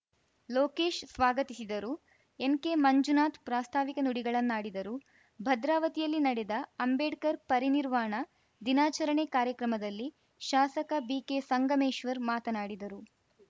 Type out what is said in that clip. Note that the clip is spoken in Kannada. ಲೋಕೇಶ್‌ ಸ್ವಾಗತಿಸಿದರು ಎನ್‌ಕೆ ಮಂಜುನಾಥ್‌ ಪ್ರಾಸ್ತಾವಿಕ ನುಡಿಗಳನ್ನಾಡಿದರು ಭದ್ರಾವತಿಯಲ್ಲಿ ನಡೆದ ಅಂಬೇಡ್ಕರ್‌ ಪರಿನಿರ್ವಾಣ ದಿನಾಚರಣೆ ಕಾರ್ಯಕ್ರಮದಲ್ಲಿ ಶಾಸಕ ಬಿಕೆ ಸಂಗಮೇಶ್ವರ್‌ ಮಾತನಾಡಿದರು